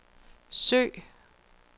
søg